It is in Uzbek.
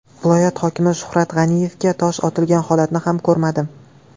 Viloyat hokimi Shuhrat G‘aniyevga tosh otilgan holatni ham ko‘rmadim.